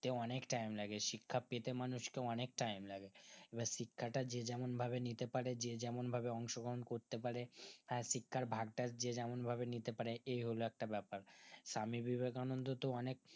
অনেক time লাগে শিক্ষা পেতে মানুষকে অনিক time লাগে এবার শিক্ষাটা যে যেমন ভাবে নিতে পারে যে যেমন ভাবে অংশগ্রহণ করতে পারে হ্যাঁ শিক্ষার ভাগটা যে যেমন ভাবে এই হলো একটা বেপার স্বামীবিবেকানন্দ তো অনেক